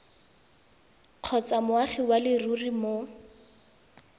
kgotsa moagi wa leruri mo